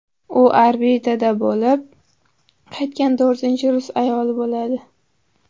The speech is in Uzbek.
U orbitada bo‘lib qaytgan to‘rtinchi rus ayoli bo‘ladi.